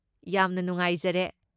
ꯌꯥꯝꯅ ꯅꯨꯡꯉꯥꯏꯖꯔꯦ꯫